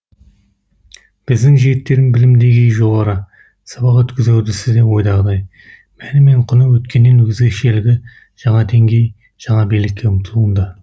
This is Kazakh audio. біздің жігіттердің білім деңгейі жоғары сабақ өткізу үрдісі де ойдағыдай мәні мен құны өткеннен өзгешелігі жаңа деңгей жаңа биікке ұмтылуында